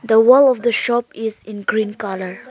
the wall of the shop is in green colour.